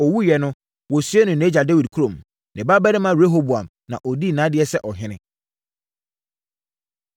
Ɔwuiɛ no, wɔsiee no nʼagya Dawid kurom. Ne babarima Rehoboam na ɔdii nʼadeɛ sɛ ɔhene.